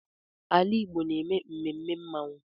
Ala Igbo na-eme mmemme mmanwụ.